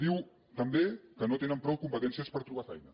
diu també que no tenen prou competències per trobar feina